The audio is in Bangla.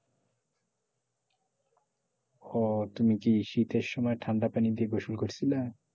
ওহ তুমি কি শীতের সময় ঠান্ডা পানী দিয়ে গোসল করছিলা?